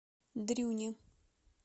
дрюне